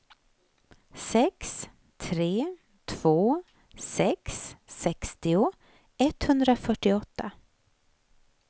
sex tre två sex sextio etthundrafyrtioåtta